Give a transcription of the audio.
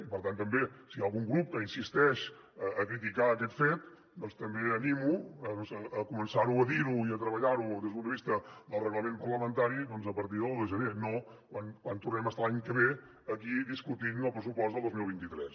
i per tant si hi ha algun grup que insisteix a criticar aquest fet doncs també animo a començar a dir ho i a treballar ho des del punt de vista del reglament parlamentari a partir de l’un de gener no quan tornem a estar l’any que ve aquí discutint el pressupost del dos mil vint tres